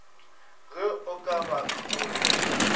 ge o ka ba kolobe